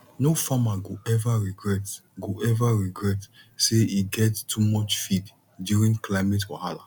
no farmer go ever regret go ever regret say e get too much feed during climate wahala